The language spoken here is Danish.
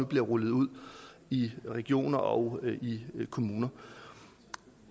bliver rullet ud i regioner og kommuner